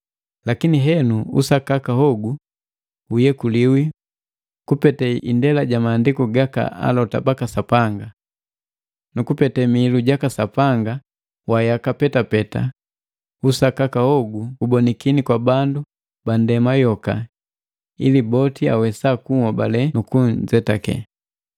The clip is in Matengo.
Lakini henu usakaka hogu uyekuliwi kupete ndela ja Maandiku gaka alota baka Sapanga. Nukupete Mihilu jaka Sapanga wa yaka petapeta, usakaka hogu ubonakini kwa bandu bandema yoka ili boti awesa kuhobale nu kujetake.